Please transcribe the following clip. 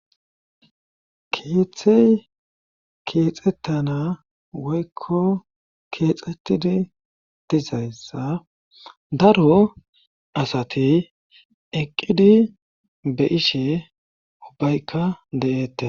keeththey keexettana woykko keexettidi dizayssa daro asati eqqidi be ishe ubbaykka de7eette